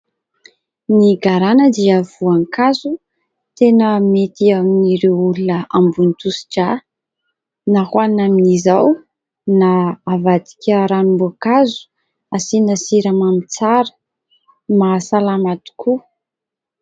Ny garana dia voankazo tena mety amin'ireo olona ambony tosi-drà na ho hanina amin'izao na havadika ranom-boankazo hasiana siramamy tsara, mahasalama tokoa.